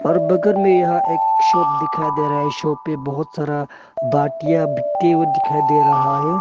और बगर में यहा एक शॉप दिखाई दे रहा है शॉप पे बहुत सारा बाल्टियां बीकते हुए दिखाई दे रहा है।